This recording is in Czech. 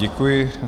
Děkuji.